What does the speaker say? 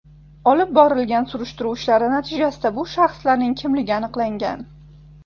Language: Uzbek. Olib borilgan surishtiruv ishlari natijasida bu shaxslarning kimligi aniqlangan.